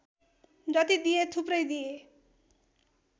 जति दिए थुप्रै दिए